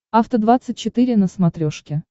афта двадцать четыре на смотрешке